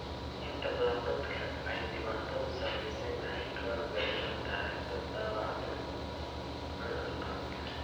Inta badan dadka ay dhibaatadu saameysey waxay ka warbixiyaan taariikhda dhaawaca curcurka.